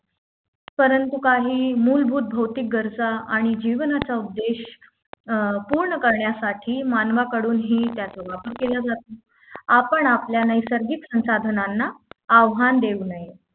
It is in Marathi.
परंतु काही मूलभूत भौतिक गरजा आणि जीवनाचा उद्देश अं पूर्ण करण्यासाठी मानवाकडून ही त्याचा वापर केला जातो आपण आपल्या नैसर्गिक संसाधनांना आव्हान देऊ नये